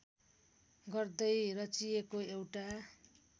गर्दै रचिएको एउटा